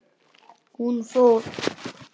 Hún fór.